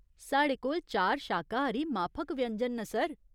साढ़े कोल चार शाकाहारी माफक व्यंजन न, सर।